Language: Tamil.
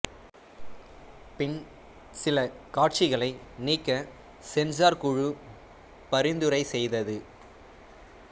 பின் சில காட்சிகளை நீக்க சென்சார் குழு பரிந்துரை செய்தது